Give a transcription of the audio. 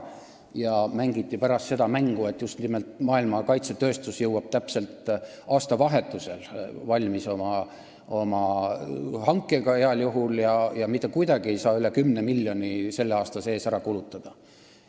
Pärast mängiti seda mängu, et maailma kaitsetööstus jõuab oma hankega valmis heal juhul täpselt aastavahetusel ja mitte kuidagi ei saa üle 10 miljoni selle aasta sees ära kulutada.